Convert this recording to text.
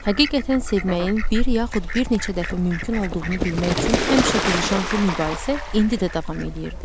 Həqiqətən sevməyin bir yaxud bir neçə dəfə mümkün olduğunu bilmək üçün həmişə qızışan bu mübahisə indi də davam eləyirdi.